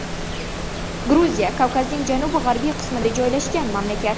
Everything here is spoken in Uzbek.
Gruziya Kavkazning janubi-g‘arbiy qismida joylashgan mamlakat.